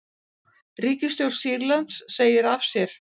Ríkisstjórn Sýrlands segir af sér